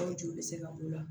Hali joli bɛ se ka b'o la